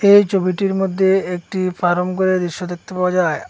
এই ছবিটির মদ্যে একটি ফারাম গরের দৃশ্য দেখতে পাওয়া যায়।